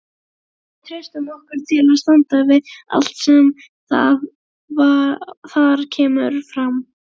Við treystum okkur til að standa við allt það sem þar kemur fram.